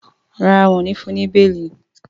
ràrá wón ní fún ní beeli.